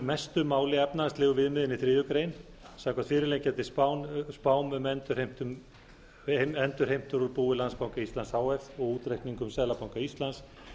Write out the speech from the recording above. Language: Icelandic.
mestu máli efnahagslegu viðmiðin í þriðju greinar samkvæmt fyrirliggjandi spám um endurheimtur úr búi landsbanka íslands h f og útreikningum seðlabanka íslands